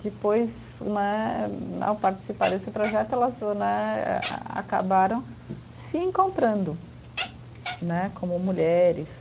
Depois né, ao participar desse projeto, elas né a a acabaram se encontrando né, como mulheres.